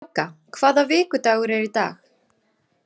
Kráka, hvaða vikudagur er í dag?